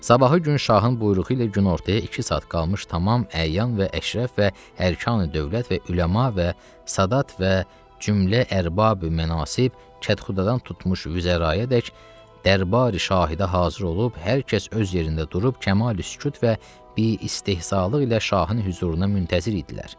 Sabahı gün şahın buyruğu ilə günortaya iki saat qalmış tamam əyyan və əşrəf və ərkani dövlət və üləma və sadat və cümlə ərbab mənasib, kətxudədan tutmuş vüzərayədək dərbari şahidə hazır olub, hər kəs öz yerində durub kəmali sükut və bi istehzaq ilə şahın hüzuruna müntəzir idilər.